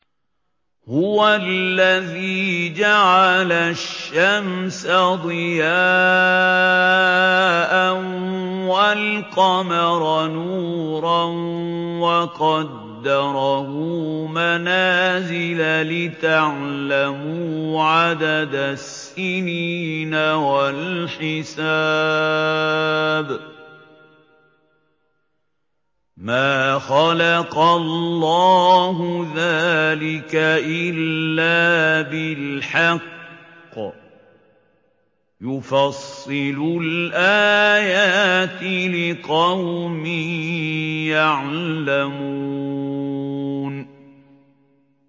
هُوَ الَّذِي جَعَلَ الشَّمْسَ ضِيَاءً وَالْقَمَرَ نُورًا وَقَدَّرَهُ مَنَازِلَ لِتَعْلَمُوا عَدَدَ السِّنِينَ وَالْحِسَابَ ۚ مَا خَلَقَ اللَّهُ ذَٰلِكَ إِلَّا بِالْحَقِّ ۚ يُفَصِّلُ الْآيَاتِ لِقَوْمٍ يَعْلَمُونَ